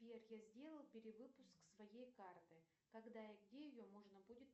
сбер я сделал перевыпуск своей карты когда и где ее можно будет